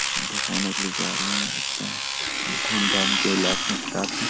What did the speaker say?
के लिए जा रहे हैं लगता है धूम धाम के उलाशो के साथ है।